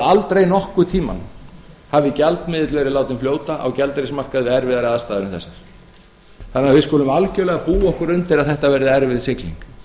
aldrei nokkurn tíma hafi gjaldmiðill verið látinn fljóta á gjaldeyrismarkaði við erfðari aðstæður en þessar þannig að við skulum algerlega búa okkur undir að þetta verði erfið sigling